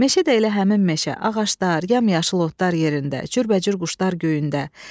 Meşə də elə həmin meşə, ağaclar, yamyaşıl otlar yerində, cürbəcür quşlar göyündə.